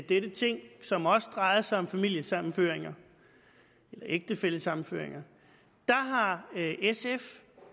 dette ting som også drejede sig om familiesammenføringer eller ægtefællesammenføringer har sf